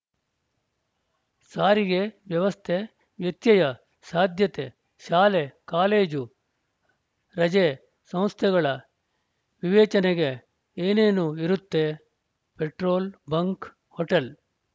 ಸಾರಿಗೆ ವ್ಯವಸ್ಥೆ ವ್ಯತ್ಯಯ ಸಾಧ್ಯತೆ ಶಾಲೆ ಕಾಲೇಜು ರಜೆ ಸಂಸ್ಥೆಗಳ ವಿವೇಚನೆಗೆ ಏನೇನು ಇರುತ್ತೆ ಪೆಟ್ರೋಲ್‌ ಬಂಕ್‌ ಹೋಟೆಲ್‌